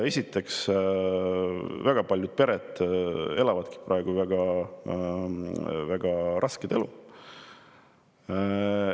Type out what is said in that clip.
Esiteks, väga paljud pered elavad praegu väga rasket elu.